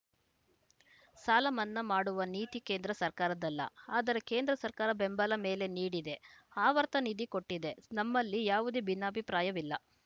ಸಾಲ ಮನ್ನಾ ಮಾಡುವ ನೀತಿ ಕೇಂದ್ರ ಸರ್ಕಾರದ್ದಲ್ಲ ಆದರೆ ಕೇಂದ್ರ ಸರ್ಕಾರ ಬೆಂಬಲ ಬೆಲೆ ನೀಡಿದೆ ಆವರ್ತ ನಿಧಿ ಕೊಟ್ಟಿದೆ ನಮ್ಮಲ್ಲಿ ಯಾವುದೇ ಭಿನ್ನಾಭಿಪ್ರಾಯವಿಲ್ಲ